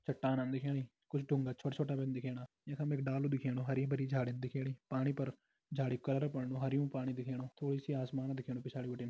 चट्टान दिखेणी कुछ ड़ूंगा छोटा-छोटा दिखेणा यख में एक डालू दिखेणु हरीं- भरीं झाड़ी दिखेणी पानी पर झाड़ी कू बणनु हरयुं पाणी दिखेणु थोड़ी सी आसमान दिखेणु पिछाड़ी बिटिन।